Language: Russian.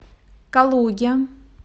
калуге